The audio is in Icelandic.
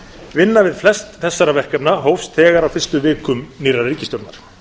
vinna við flest þessara verkefna hófst þegar á fyrstu vikum nýrrar ríkisstjórnar